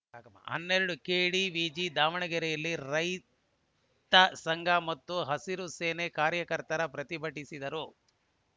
ಹನ್ನೆರಡು ಕೆಡಿವಿಜಿ ದಾವಣಗೆರೆಯಲ್ಲಿ ರಾಜ್ಯ ರೈತ ಸಂಘ ಮತ್ತು ಹಸಿರು ಸೇನೆ ಕಾರ್ಯಕರ್ತರು ಪ್ರತಿಭಟಿಸಿದರು